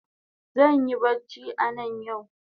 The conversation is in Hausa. Zanyi bacci anan yau